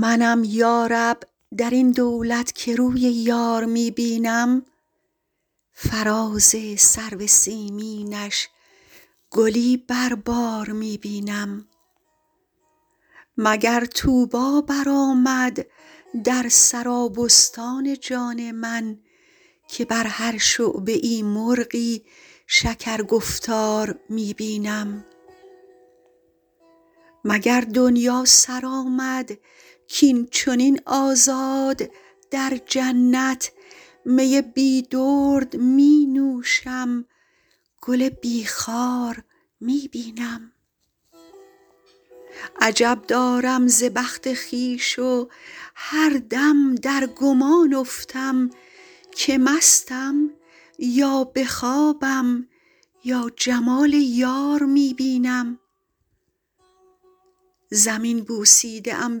منم یا رب در این دولت که روی یار می بینم فراز سرو سیمینش گلی بر بار می بینم مگر طوبی برآمد در سرابستان جان من که بر هر شعبه ای مرغی شکرگفتار می بینم مگر دنیا سر آمد کاین چنین آزاد در جنت می بی درد می نوشم گل بی خار می بینم عجب دارم ز بخت خویش و هر دم در گمان افتم که مستم یا به خوابم یا جمال یار می بینم زمین بوسیده ام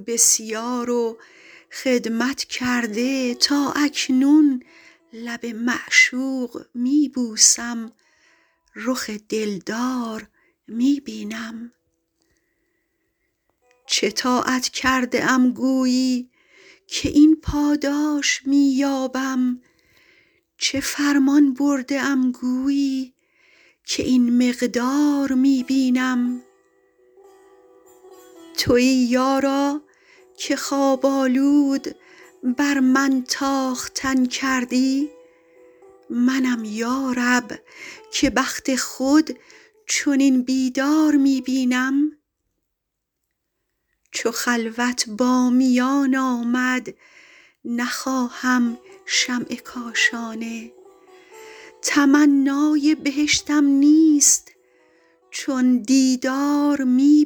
بسیار و خدمت کرده تا اکنون لب معشوق می بوسم رخ دلدار می بینم چه طاعت کرده ام گویی که این پاداش می یابم چه فرمان برده ام گویی که این مقدار می بینم تویی یارا که خواب آلود بر من تاختن کردی منم یا رب که بخت خود چنین بیدار می بینم چو خلوت با میان آمد نخواهم شمع کاشانه تمنای بهشتم نیست چون دیدار می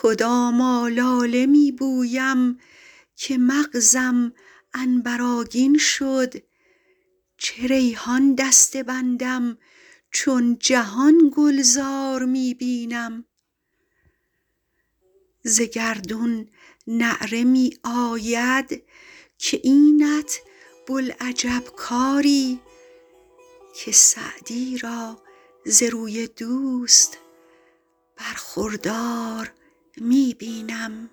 بینم کدام آلاله می بویم که مغزم عنبرآگین شد چه ریحان دسته بندم چون جهان گلزار می بینم ز گردون نعره می آید که اینت بوالعجب کاری که سعدی را ز روی دوست برخوردار می بینم